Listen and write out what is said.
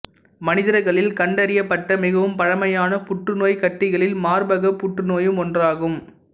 மனிதர்களில் கண்டறியப்பட்ட மிகவும் பழமையான புற்றுநோய்க் கட்டிகளில் மார்பக புற்றுநோயும் ஒன்றாகும்